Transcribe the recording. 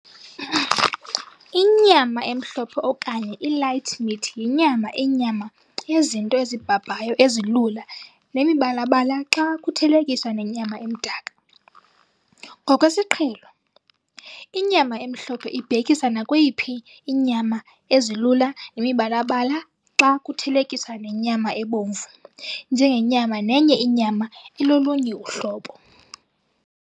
Inyama emhlophe okanye i-light meat yinyama inyama yezinto ezibhabhayo ezilula nemibalabala xa kuthelekiswa nenyama emdaka. Ngokwesiqhelo, inyama emhlophe ibhekisa nakweyiphi inyama ezilula nemibalabala xa kuthelekiswa nenyama ebomvu njengenyama nenye inyama elolunye uhlobo.